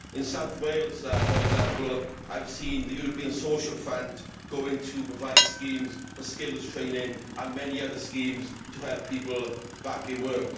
In South Wales, for example, I have seen the European Social Fund going to provide schemes for skills training and many other schemes to help people back into work.